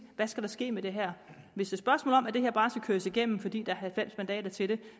hvad skal der ske med det her hvis et spørgsmål om at det her bare skal køres igennem fordi der er halvfems mandater til det